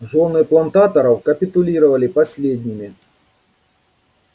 жены плантаторов капитулировали последними